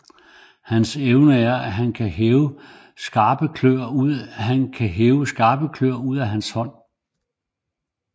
Hans evne er at han kan hæve skarpe klør ud af hans hånd